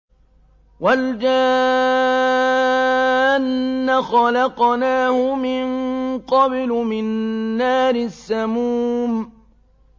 وَالْجَانَّ خَلَقْنَاهُ مِن قَبْلُ مِن نَّارِ السَّمُومِ